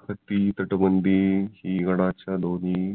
फात्ती तटबंदी गडाच्या दोन्ही